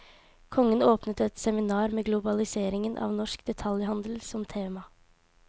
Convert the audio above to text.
Kongen åpnet et seminar med globaliseringen av norsk detaljhandel som tema.